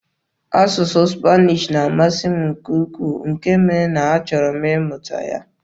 Asụsụ Spanish na-amasị m nke ukwuu, nke mere na a chọrọ m ịmụta ya.